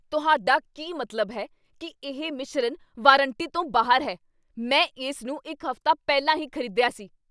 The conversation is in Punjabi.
ਤੁਹਾਡਾ ਕੀ ਮਤਲਬ ਹੈ ਕੀ ਇਹ ਮਿਸ਼ਰਨ ਵਾਰੰਟੀ ਤੋਂ ਬਾਹਰ ਹੈ? ਮੈਂ ਇਸ ਨੂੰ ਇੱਕ ਹਫ਼ਤਾ ਪਹਿਲਾਂ ਹੀ ਖ਼ਰੀਦਿਆ ਸੀ!